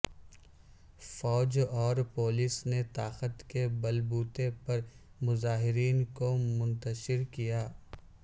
فوج اور پولیس نے طاقت کے بل بوتے پر مظاہرین کو منتشر کیا